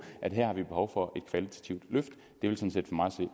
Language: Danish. at vi har behov for et kvalitativt løft